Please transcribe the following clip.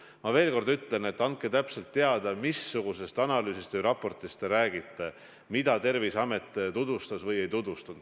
Ma veel kord ütlen, et andke täpselt teada, missugusest analüüsist või raportist te räägite, mida Terviseamet tutvustas või ei tutvustanud.